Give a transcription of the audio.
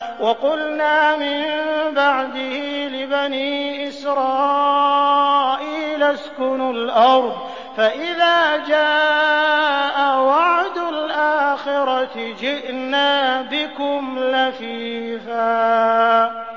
وَقُلْنَا مِن بَعْدِهِ لِبَنِي إِسْرَائِيلَ اسْكُنُوا الْأَرْضَ فَإِذَا جَاءَ وَعْدُ الْآخِرَةِ جِئْنَا بِكُمْ لَفِيفًا